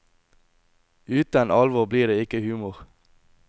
Utan alvor blir det ikkje humor.